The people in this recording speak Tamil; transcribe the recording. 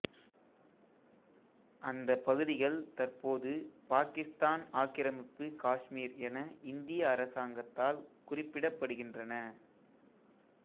அந்தப் பகுதிகள் தற்போது பாகிஸ்தான் ஆக்கிரமிப்பு காஷ்மீர் என இந்திய அரசாங்கத்தால் குறிப்பிடப்படுகின்றன